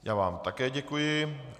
Já vám také děkuji.